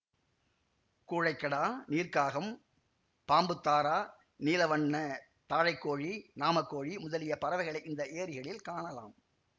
கூழைக்கடா நீர்க்காகம் பாம்புத்தாரா நீலவண்ண தாழைக்கோழி நாமக்கோழி முதலிய பறவைகளை இந்த ஏரிகளில் காணலாம்